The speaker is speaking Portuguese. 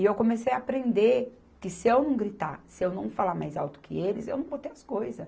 E eu comecei a aprender que se eu não gritar, se eu não falar mais alto que eles, eu não vou ter as coisa.